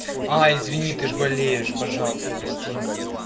а извини ты ж болеешь пожалуйста прости меня